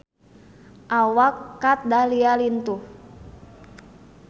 Awak Kat Dahlia lintuh